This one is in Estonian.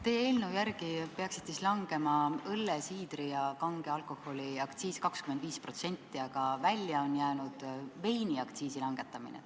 Teie eelnõu järgi peaks õlle-, siidri- ja kange alkoholi aktsiis 25% langema, aga välja on jäänud veiniaktsiisi langetamine.